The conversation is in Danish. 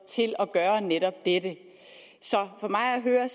gøre netop dette så for mig at høre